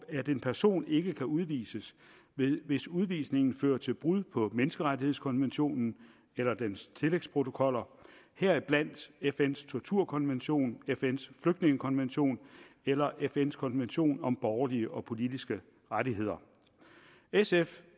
en person ikke kan udvises hvis udvisningen fører til brud på menneskerettighedskonventionen eller dens tillægsprotokoller heriblandt fns torturkonvention fns flygtningekonvention eller fns konvention om borgerlige og politiske rettigheder i sf